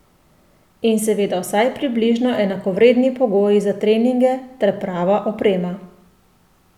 In seveda vsaj približno enakovredni pogoji za treninge ter prava oprema.